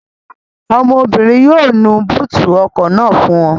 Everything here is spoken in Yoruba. Ọmọbìnrin yóò nu búùtì ọkọ̀ náà fún ọ